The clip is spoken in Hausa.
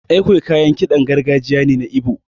An Ekwe kayan kiɗan gargajiya ne na Igbo.